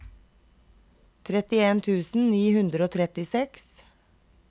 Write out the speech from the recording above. trettien tusen ni hundre og trettiseks